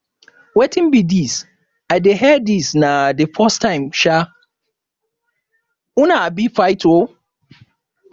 wetin be dis i dey hear dis na the first time um una um fight oo